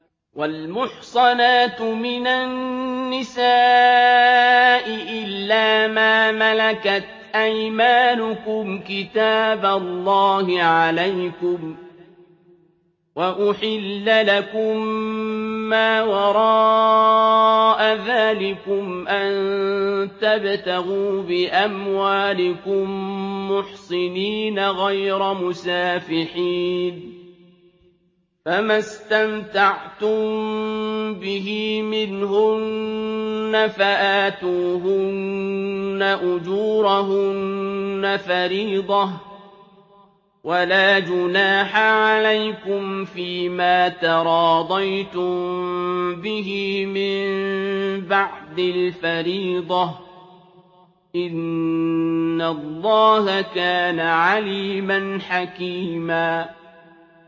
۞ وَالْمُحْصَنَاتُ مِنَ النِّسَاءِ إِلَّا مَا مَلَكَتْ أَيْمَانُكُمْ ۖ كِتَابَ اللَّهِ عَلَيْكُمْ ۚ وَأُحِلَّ لَكُم مَّا وَرَاءَ ذَٰلِكُمْ أَن تَبْتَغُوا بِأَمْوَالِكُم مُّحْصِنِينَ غَيْرَ مُسَافِحِينَ ۚ فَمَا اسْتَمْتَعْتُم بِهِ مِنْهُنَّ فَآتُوهُنَّ أُجُورَهُنَّ فَرِيضَةً ۚ وَلَا جُنَاحَ عَلَيْكُمْ فِيمَا تَرَاضَيْتُم بِهِ مِن بَعْدِ الْفَرِيضَةِ ۚ إِنَّ اللَّهَ كَانَ عَلِيمًا حَكِيمًا